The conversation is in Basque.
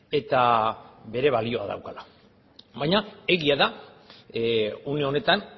eta bere balioa daukala baina egia da une honetan